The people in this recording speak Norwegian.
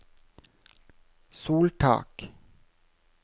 soltak